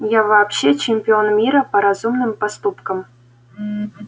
я вообще чемпион мира по разумным поступкам